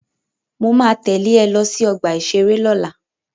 Mo ma tẹ́lẹ̀ ẹ lọ sí ọgbà-ìṣeré lọ́la